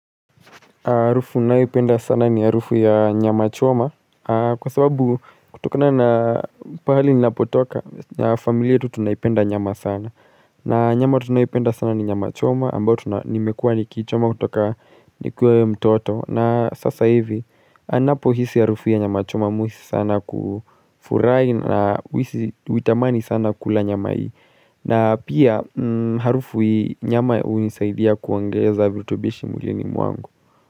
Harufu ninayoipenda sana ni harufu ya nyama choma kwa sababu kutokana na pahali ninapotoka familia yetu tunaipenda nyama sana. Na nyama tunayoipenda sana ni nyama choma ambayo nimekua niikichoma kutoka ni kiwa mtoto. Na sasa hivi ninapo hisi harufu ya nyama choma umiss sana kufurahi na huitamani sana kula nyama hii. Na pia harufu nyama hunisaidia kuongeza virutubisho mwilini mwangu.